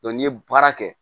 n'i ye baara kɛ